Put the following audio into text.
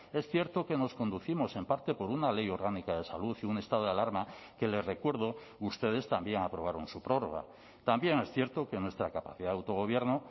es cierto que nos conducimos en parte por una ley orgánica de salud y un estado de alarma que le recuerdo ustedes también aprobaron su prórroga también es cierto que nuestra capacidad de autogobierno